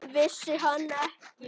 Vissi hann ekki?